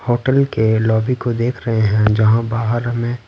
hotel के lobby को देख रहे हैं जहाँ बाहर हमें--